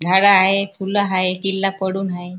झाड हाय फुल हाय किल्ला पडून हाय.